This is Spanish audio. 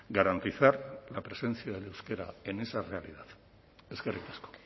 garantizar la presencia del euskera en esa realidad eskerrik asko